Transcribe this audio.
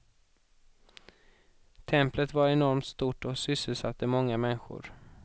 Templet var enormt stort och sysselsatte många människor.